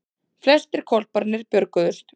Flestir hvolparnir björguðust